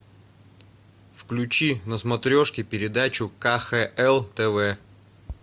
включи на смотрешке передачу кхл тв